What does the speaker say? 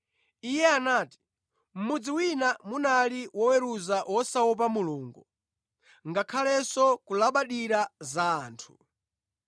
Iye anati, “Mʼmudzi wina munali woweruza wosaopa Mulungu ngakhalenso kulabadira za anthu.